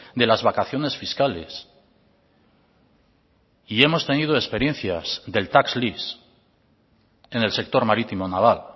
de las vacaciones fiscales y hemos tenido experiencias del tax lease en el sector marítimo naval